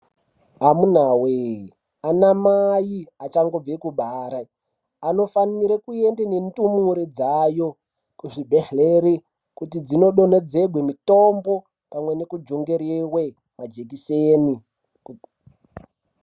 Amuna we anamai achango bve kubara, anofanire kuende nendumure dzayo kuzvi bhedhlera, kuti dzino donhedzerwe mitombo pamwe neku jungeriwe majekiseni.